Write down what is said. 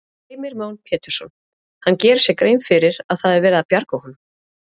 Heimir Már Pétursson: Hann gerir sér grein fyrir að það er verið að bjarga honum?